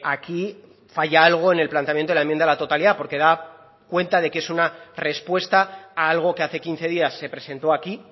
aquí falla algo en el planteamiento de la enmienda a la totalidad porque da cuenta de que es una respuesta a algo que hace quince días se presentó aquí